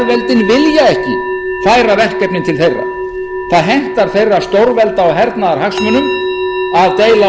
vilja ekki færa verkefnin til þeirra það hentar þeirra stórvelda og hernaðarhagsmunum að deila og drottna og það er sú pólitík sem mér